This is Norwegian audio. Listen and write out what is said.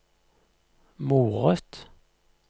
moret